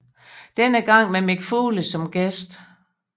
Denne gang med Mick Foley som gæst